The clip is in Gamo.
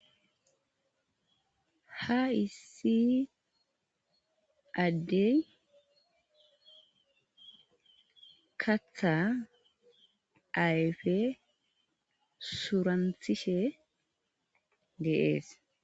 ha issi addey katha ayfe suranthishe deees